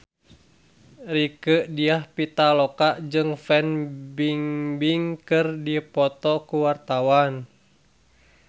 Rieke Diah Pitaloka jeung Fan Bingbing keur dipoto ku wartawan